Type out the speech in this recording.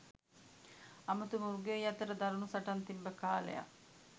අමුතු මෘගයොයි අතර දරැණු සටන් තිබ්බ කාලයක්.